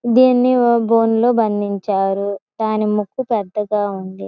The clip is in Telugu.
దీన్ని ఓ బోనులో బంధించారు దాని ముక్కు పెద్దగా ఉంది.